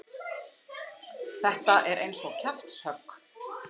Þetta er eins og kjaftshögg.